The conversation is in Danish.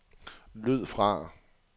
lyd fra